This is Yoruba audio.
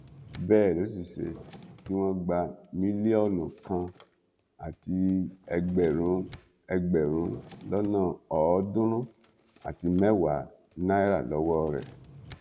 bẹẹ ló sì ṣe tí wọn gba mílíọnù kan àti ẹgbẹrún ẹgbẹrún lọnà ọọdúnrún àti mẹwàá náírà lọwọ rẹ